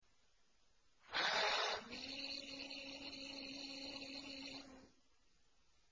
حم